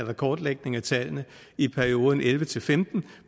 og kortlægning af tallene i perioden elleve til femten